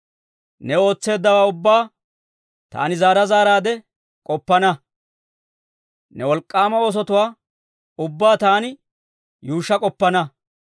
Ne ootseeddawaa ubbaa, taani zaara zaaraadde k'oppana; ne wolk'k'aama oosotuwaa ubbaa taani yuushsha k'oppana.